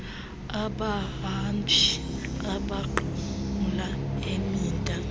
abahambi abanqumla imida